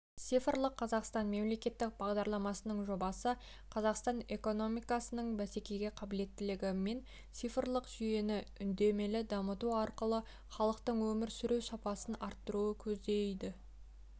цифрлық қазақстан мемлекеттік бағдарламасының жобасы қазақстан экономикасының бәсекеге қабілеттілігі мен цифрлық жүйені үдемелі дамыту арқылы халықтың өмір сүру сапасын арттыруды көздейді